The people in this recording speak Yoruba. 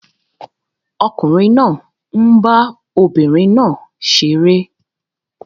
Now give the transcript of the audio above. Ọkùnrin náà ń bá obìnrin náà ṣeré